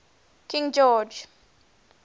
king george